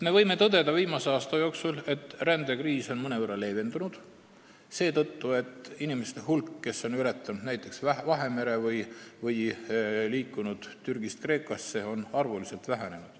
Viimase aasta põhjal võime tõdeda, et rändekriis on mõnevõrra leevendunud seetõttu, et nende inimeste arv, kes on ületanud näiteks Vahemere või liikunud Türgist Kreekasse, on vähenenud.